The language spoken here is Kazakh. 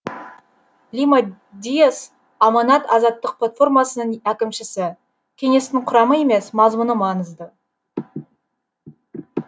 лима диас аманат азаматтық платформасының әкімшісі кеңестің құрамы емес мазмұны маңызды